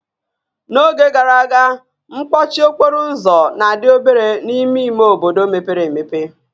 N'oge gara aga, mkpọchi okporo ụzọ na-adị obere n'ime ime obodo mepere emepe